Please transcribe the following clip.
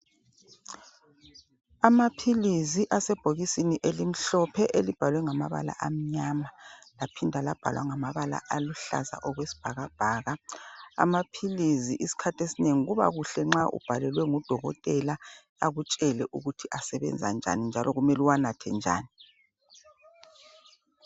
amaphilizi asebhokisini elimhlophe elibhalwe ngamabala amnyama laphinda labhalwa ngamabala aluhlaza okwesibhakabhaka amaphilisi isikhathi esinengi kuba kuhle nxa ubhalelwe ngu dokotela akutshele ukuthi asebenza njani njalo kumele uwanathe njani